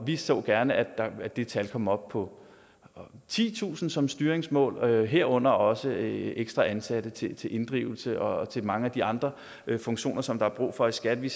vi så gerne at det tal kom op på titusind som styringsmål herunder også ekstra ansatte til til inddrivelse og til mange af de andre funktioner som der er brug for i skat vi